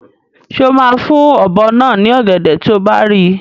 Ṣé o máa fún ọ̀bọ náà ní ọ̀gẹ̀dẹ̀ tí o bá rí i?